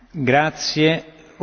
Panie Przewodniczący!